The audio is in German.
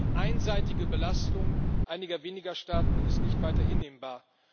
Die einseitige Belastung einiger weniger Staaten ist nicht weiter hinnehmbar.